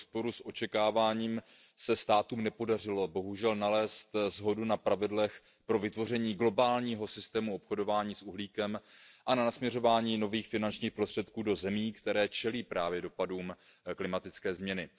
V rozporu s očekáváním se státům bohužel nepodařilo nalézt shodu na pravidlech pro vytvoření globálního systému obchodování s uhlíkem a na směřování nových finančních prostředků do zemí, které čelí dopadům klimatické změny.